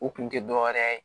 U kun tɛ dɔ wɛrɛ ye